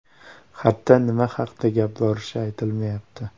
Xatda nima haqda gap borishi aytilmayapti.